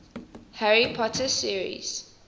harry potter series